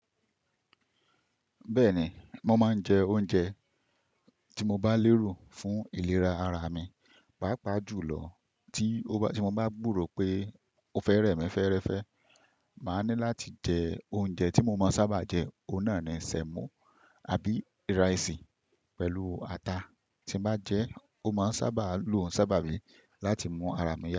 Bẹ́ẹ̀ni, mo máa ń jẹ oúnjẹ tí mo bá lérò fún ìlera ara mi, pàápàá jùlọ tí o mo bá gburò pé o fẹ́ rẹ̀mí fẹ́ẹ́rẹ́fẹ́. Màá ní láti jẹ oúnjẹ tí mo mọ̀ sábà jẹ, ọ̀hun nà náà ni sẹmo àbí ìrísì pẹ̀lú ata. Tí ma jẹ ẹ́, ó máa sábà lu òǹsàbà bi láti mú ara mi yá.